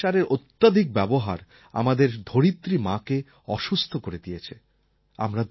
রাসায়নিক সারের অত্যধিক ব্যবহার আমাদের ধরিত্রী মাকে অসুস্থ করে দিয়েছে